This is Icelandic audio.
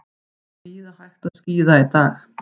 Víða hægt að skíða í dag